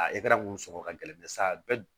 mun sɔngɔ ka gɛlɛn sa bɛ